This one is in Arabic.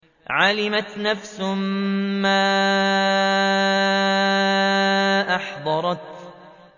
عَلِمَتْ نَفْسٌ مَّا أَحْضَرَتْ